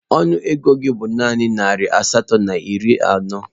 Ọnụ ego gị bụ naanị narị naira asatọ na iri anọ